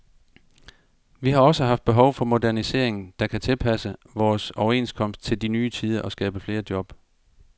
Vi har også haft behov for modernisering, der kan tilpasse vores overenskomst til de nye tider og skabe flere job.